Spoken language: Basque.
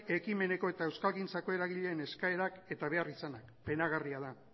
herri ekimeneko eta euskalgintzako eragileen eskaerak eta beharrizanak penagarria da